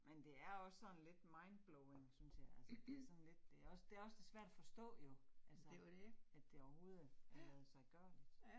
Men det er også sådan lidt mindblowing synes jeg, altså det sådan lidt, det også det også svært at forstå jo. Altså, at det overhovedet er ladsiggørligt